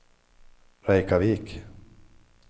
Reykjavik